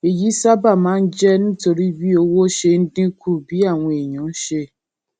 èyí sábà máa ń jé nítorí bí owó ṣe ń dín kù bí àwọn èèyàn ṣe